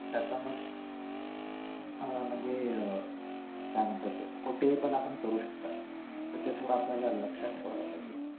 त्याचा मग आह म्हणजे आह काय म्हणतात त्याला कुठेपण आपण करू शकतो तर ते थोडा आपल्याला लक्ष्यात ठेवायला पाहिजे